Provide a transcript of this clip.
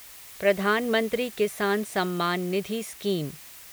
प्रधानमंत्री किसान सम्मान निधि स्कीम